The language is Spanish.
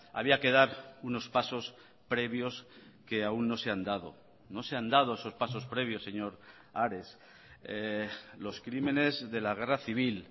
había que dar unos pasos previos que aún no se han dado no se han dado esos pasos previos señor ares los crímenes de la guerra civil